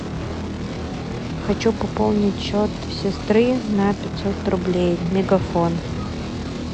хочу пополнить счет сестры на пятьсот рублей мегафон